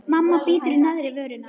Mamma bítur í neðri vörina.